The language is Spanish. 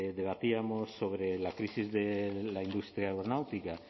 debatíamos sobre la crisis de la industria aeronáutica